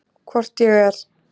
Hvort ég er.